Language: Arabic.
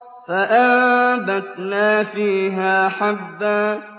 فَأَنبَتْنَا فِيهَا حَبًّا